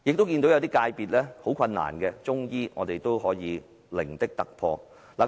即使有些界別遇到困難，例如中醫，但我們亦成功取得零的突破。